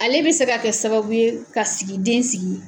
Ale bɛ se ka kɛ sababu ye ka sigi den sigi